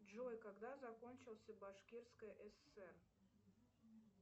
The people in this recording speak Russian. джой когда закончился башкирское сср